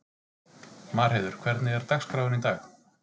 Marheiður, hvernig er dagskráin í dag?